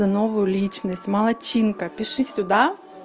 новую личность молодчинка пиши сюда